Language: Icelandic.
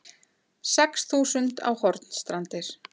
Sex þúsund á Hornstrandir